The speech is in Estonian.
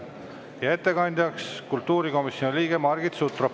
Ja ettekandja on kultuurikomisjoni liige Margit Sutrop.